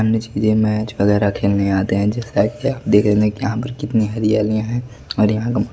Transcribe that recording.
ये मैच वगैरह खेलने आते हैं जैसे आप देख रहे कि यहां पर कितनी हरियालियां हैं और यहां का--